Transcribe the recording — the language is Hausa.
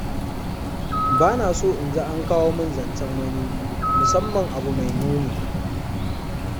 Ba na so in ji an kawo min zancen wani, musamman abu mai muni.